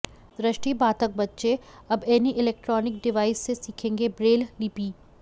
दृष्टि बाधिक बच्चे अब एनी इलेक्ट्रानिक डिवाइस से सिखेंगे ब्रेल लिपि